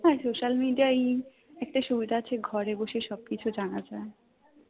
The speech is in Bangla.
হ্যাঁ social media একটা সুবিধা আছে ঘরে বসে সবকিছু জানা যায়